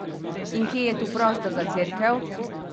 In kje je tu prostor za cerkev?